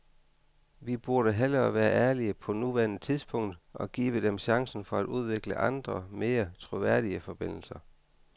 Vi burde hellere være ærlige på nuværende tidspunkt og give dem chancen for at udvikle andre, mere troværdige forbindelser.